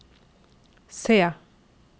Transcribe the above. se